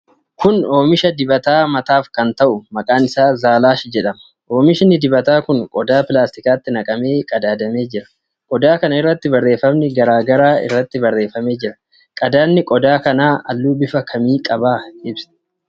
Kun oomisha dibata mataaf kan ta'u, maqaan isaa Zalaash jedhama. Oomishi dibataa kun qodaa pilaastikaatti naqamee qadaadamee jira. Qodaa kana irratti barreefami garaa garaa irratti barreeffamee jira. Qadaadi qodaa kanaa halluu bifa kamii qaba?